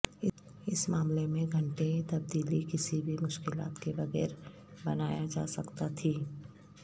اس معاملے میں گھٹنے تبدیلی کسی بھی مشکلات کے بغیر بنایا جا سکتا تھیں